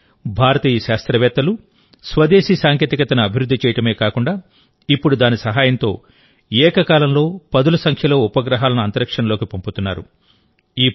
కానీ భారతీయ శాస్త్రవేత్తలు స్వదేశీ సాంకేతికతను అభివృద్ధి చేయడమే కాకుండా ఇప్పుడు దాని సహాయంతో ఏకకాలంలో పదుల సంఖ్యలో ఉపగ్రహాలను అంతరిక్షంలోకి పంపుతున్నారు